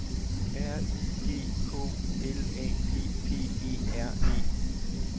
R Y G K L A P P E R E